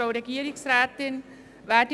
Kommissionspräsidentin der JuKo.